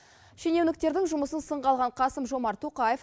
шенеуніктердің жұмысын сынға алған қасым жомарт тоқаев